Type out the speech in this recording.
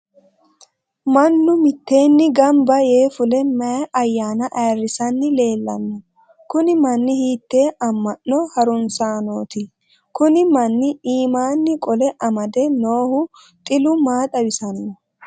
mannu mitteenni gamba yee fule mayi ayyaana ayiirisanni leelanno? kuni manni hiittee amma'no harunsaanooti? kuni manni iimaanni qole amade noohu xilu maa xawisanno?